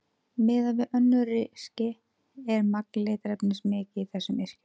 Miðað við mörg önnur yrki er magn litarefnis mikið í þessum yrkjum.